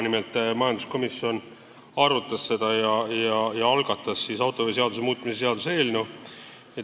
Majanduskomisjon nimelt arutas seda täna ja algatas autoveoseaduse muutmise seaduse eelnõu.